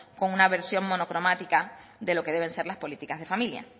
con una versión monocromática de lo que deben ser las políticas de familia